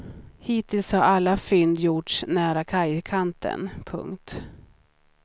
Hittills har alla fynd gjorts nära kajkanten. punkt